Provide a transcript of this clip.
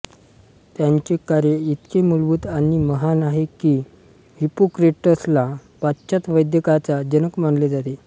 त्याचे कार्य इतके मुलभूत आणि महान आहे की हिप्पोक्रेटसला पाश्चात्य वैद्यकाचा जनक मानले जाते